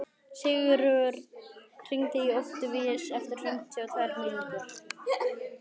Sigurörn, hringdu í Októvíus eftir fimmtíu og tvær mínútur.